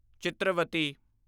Chitravati